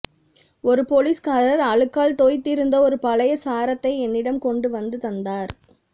ஒரு பொலிஸ்காரர் அழுக்கால் தோய்ந்திருந்த ஒரு பழைய சாரத்தை என்னிடம் கொண்டுவந்து தந்தார்